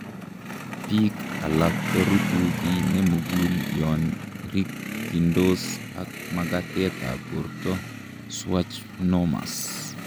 Biik alak korutu kiy nemugul yon rikyindos ak makatetab borto schwannomas